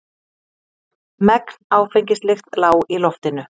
Megn áfengislykt lá í loftinu.